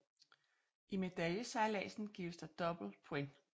I medaljesejladsen gives der dobbelt points